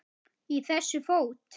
Í þessu fót